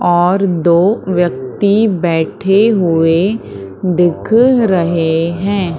और दो व्यक्ति बैठे हुए दिख रहे है।